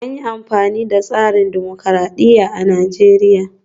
An yi amfani da tsarin dimokuradiyya a Najeriya